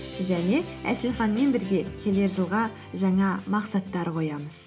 және әселханмен бірге келер жылға жаңа мақсаттар қоямыз